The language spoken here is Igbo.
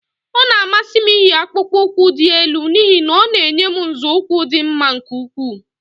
Ọ na-amasị m iyi akpukpu ụkwụ dị elu n'ihi na ọ na-enye m nzọụkwụ dị mma nke ukwuu